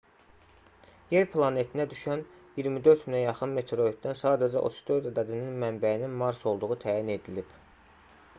yer planetinə düşən 24000-ə yaxın meteoritdən sadəcə 34 ədədinin mənbəyinin mars olduğu təyin edilib